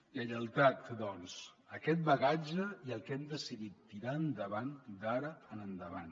lleialtat doncs a aquest bagatge i al que hem decidit tirar endavant d’ara en endavant